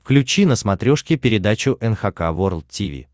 включи на смотрешке передачу эн эйч кей волд ти ви